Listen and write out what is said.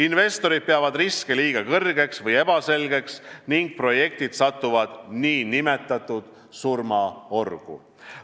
Investorid peavad riske liiga kõrgeks või ebaselgeks ning projektid satuvad nn surmaorgu.